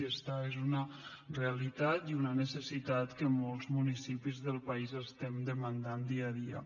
i esta és una realitat i una necessitat que molts municipis del país demandem dia a dia